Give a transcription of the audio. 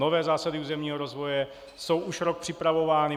Nové zásady územního rozvoje jsou už rok připravovány.